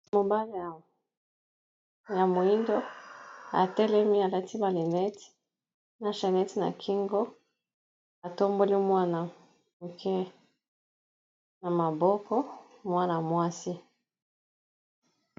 Mobala ya moyindo atelemi alati na lunette na chainnete na kingo atamboli mwana moke na maboko mwana mwasi.